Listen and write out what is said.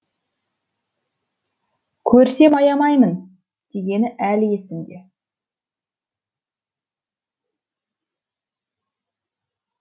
көрсем аямаймын дегені әлі есімде